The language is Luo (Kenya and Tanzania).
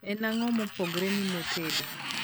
en ango mopogore ni mo tedo